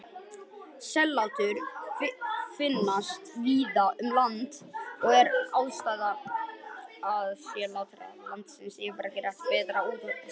Sellátur finnast víða um land og er aðgengi að sellátrum landsels yfirleitt betra en útsels.